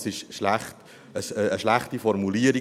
Das ist eine schlechte Formulierung.